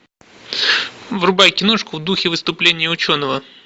врубай киношку в духе выступления ученого